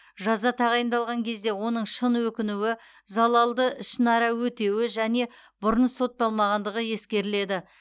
жаза тағайындалған кезде оның шын өкінуі залалды ішінара өтеуі және бұрын сотталмағандығы ескерілді